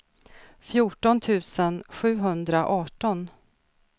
fjorton tusen sjuhundraarton